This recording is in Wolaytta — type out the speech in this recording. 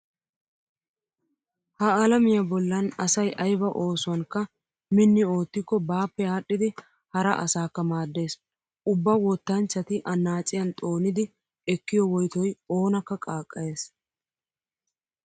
Ha alamiya bollan asay ayba oosuwankka minni oottikko baappe aadhdhidi hara asaakka maaddees. Ubba wottanchchati annaaciyan xoonidi ekkiyo woytoy oonakka qaaqqayees.